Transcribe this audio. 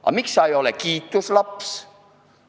Aga miks sa ei ole kiituslaps?